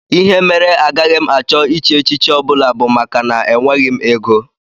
Ihe mere agaghị m achọ ịchị echichi ọ bụla bụ maka na enweghị m ego